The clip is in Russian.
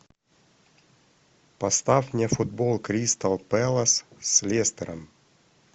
поставь мне футбол кристал пэлас с лестером